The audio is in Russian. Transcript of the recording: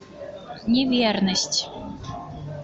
неверность